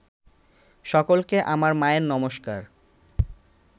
সকলকে আমার মায়ের নমস্কার